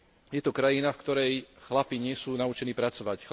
Je to krajina v ktorej chlapi nie sú naučení pracovať.